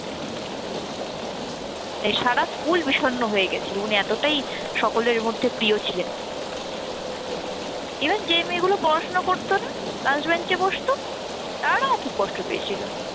তাই সারা স্কুল বিষন্ন হয়ে গেছিলো উনি এতটাই সকলের মধ্যে প্রিয় ছিলেন। even যে মেয়েগুলো পড়াশোনা করত না last bench এ বসত তারাও খুব কষ্ট পেয়েছিল।